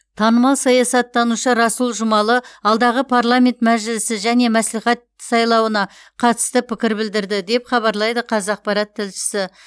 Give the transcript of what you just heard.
танымал саясаттанушы расул жұмалы алдағы парламент мәжілісі және мәслихат сайлауына қатысты пікір білдірді деп хабарлайды қазақпарат тілшісі